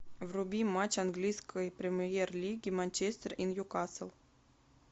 вруби матч английской премьер лиги манчестер и ньюкасл